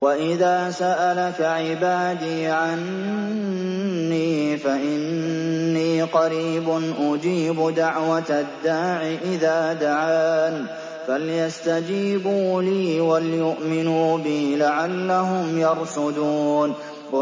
وَإِذَا سَأَلَكَ عِبَادِي عَنِّي فَإِنِّي قَرِيبٌ ۖ أُجِيبُ دَعْوَةَ الدَّاعِ إِذَا دَعَانِ ۖ فَلْيَسْتَجِيبُوا لِي وَلْيُؤْمِنُوا بِي لَعَلَّهُمْ يَرْشُدُونَ